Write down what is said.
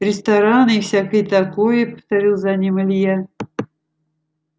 рестораны и всякое такое повторил за ним илья